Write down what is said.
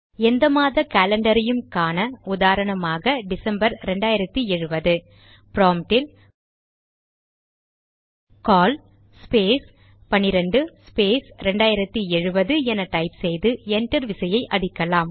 எந்த மாத காலண்டரையும் காண உதாரணமாக டிசம்பர் 2070 ப்ராம்ட்டில் கால் ஸ்பேஸ் 12 ஸ்பேஸ் 2070 என டைப் செய்து என்டர் விசையை அடிக்கலாம்